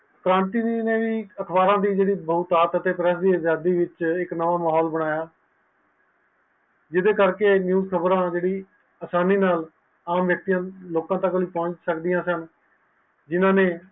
ਪ੍ਰਾਂਤੀ ਨੈ ਵੀ ਜੇਰੀ ਅਖਬਾਰਾਂ ਦੀ ਮੋਮਤਾਜ ਹੈ ਉਸਨੈ ਇਕ ਨੋ ਹਾਲ ਬਨਾਯਾ ਜਿੰਦੇ ਕਰਕੇ ਆ ਚੀਜ਼ ਖ਼ਬਰ ਹੈ ਜੇਰੀ ਆਸਾਨੀ ਨਾਲ ਆਮ ਵਯਕਤੀਆਂ ਤਕ ਪਹੁੰਚ ਸਕਦੀਆਂ ਹਨ